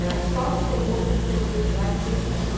Ela só sossegou quando pegou a estrada e veio embora.